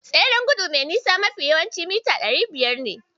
Tseren gudu mai nisa mafi yawanci mita ɗari biyar ne.